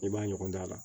I b'a ɲɔgɔn dan la